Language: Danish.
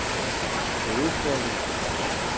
hovedstaden